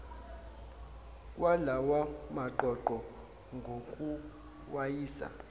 kwalawa maqoqo ngokuwayisa